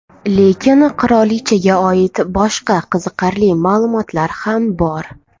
Lekin qirolichaga oid boshqa qiziqarli ma’lumotlar ham bor.